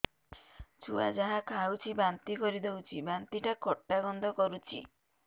ଛୁଆ ଯାହା ଖାଉଛି ବାନ୍ତି କରିଦଉଛି ବାନ୍ତି ଟା ଖଟା ଗନ୍ଧ କରୁଛି